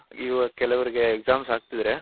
ಇವಾಗ ಕೆಲವರಿಗೆ Exams ಅಗ್ತಿದ್ರೆ